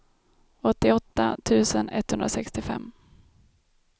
åttioåtta tusen etthundrasextiofem